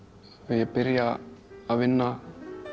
ég byrja að vinna